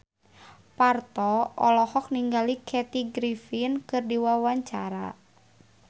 Parto olohok ningali Kathy Griffin keur diwawancara